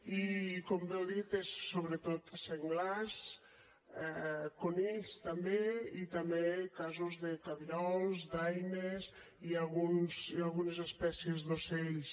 i com bé heu dit són sobretot senglars conills també i també casos de cabirols daines i algunes espècies d’ocells